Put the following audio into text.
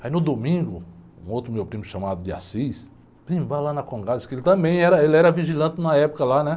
Aí no domingo, um outro meu primo chamado de, primo vai lá na, que ele também era, era vigilante na época, né?